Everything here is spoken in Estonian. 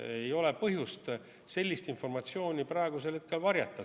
Ei ole põhjust sellist informatsiooni praegusel hetkel varjata.